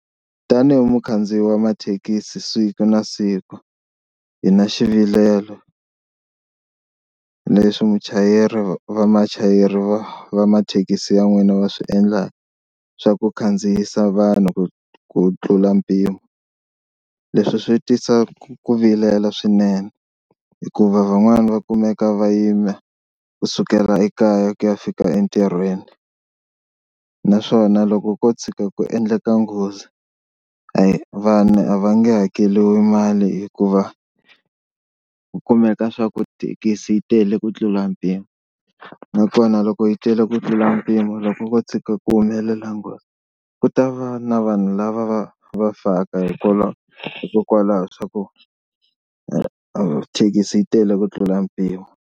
Tanihi mukhandziyi wa mathekisi siku na siku hi na xivilelo, na leswi muchayeri vamachayeri va mathekisi ya n'wina va swi endlaka swa ku khandziyisa vanhu ku tlula mpimo. Leswi swi tisa ku vilela swinene hikuva van'wana va kumeka va yima kusukela ekaya ku ya fika entirhweni. Naswona loko ko tshuka ku endleka nghozi a vanhu a va nge hakeriwi mali hikuva ku kumeka swa ku thekisi yi tele ku tlula mpimo, nakona loko yi tele ku tlula mpimo loko ko tshuka ku humelela nghozi ku ta va na vanhu lava va va faka hikwalaho hikokwalaho swa ku thekisi yi tele ku tlula mpimo.